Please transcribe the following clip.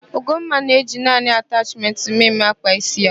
Ugomma na-eji naanị atachmentị mme mme akpa ísí ya.